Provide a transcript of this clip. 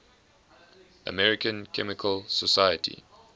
american chemical society